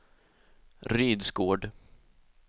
Rydsgård